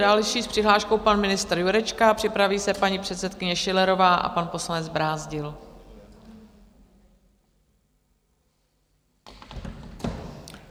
Další s přihláškou, pan ministr Jurečka, připraví se paní předsedkyně Schillerová a pan poslanec Brázdil.